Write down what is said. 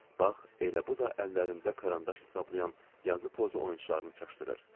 Bax, elə bu da əllərində karandaş hesablayan yazı pozu oyunçularını çaşdırır.